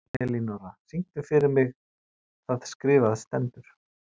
Elinóra, syngdu fyrir mig „Það skrifað stendur“.